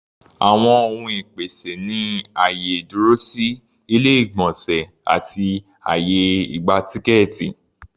Àwọn ohun ìpèsè ni àyè ìdúrósí, ilé-ìgbọ̀nsẹ̀ àti àyè ìgba-tíkẹ́ẹ̀tì.